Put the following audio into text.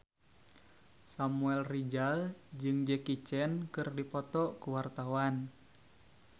Samuel Rizal jeung Jackie Chan keur dipoto ku wartawan